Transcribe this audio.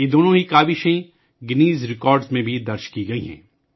ان دونوں ہی کوسشوں کو گینز ریکارڈ میں بھی درج کیا گیا ہے